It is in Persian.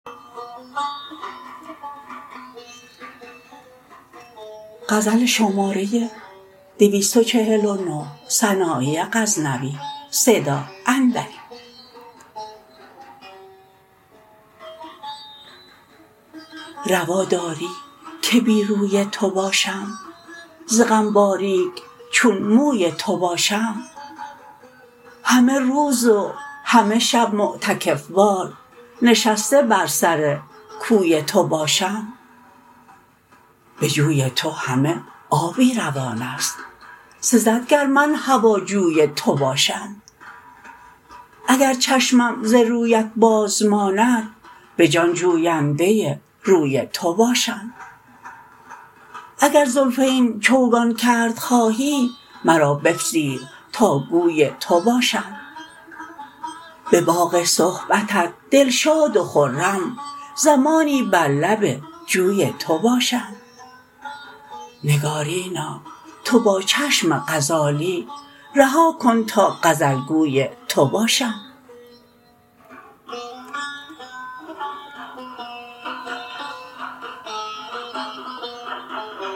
روا داری که بی روی تو باشم ز غم باریک چون موی تو باشم همه روز و همه شب معتکف وار نشسته بر سر کوی تو باشم به جوی تو همه آبی روان ست سزد گر من هواجوی تو باشم اگر چشمم ز رویت باز ماند به جان جوینده روی تو باشم اگر زلفین چوگان کرد خواهی مرا بپذیر تا گوی تو باشم به باغ صحبتت دلشاد و خرم زمانی بر لب جوی تو باشم نگارینا تو با چشم غزالی رها کن تا غزل گوی تو باشم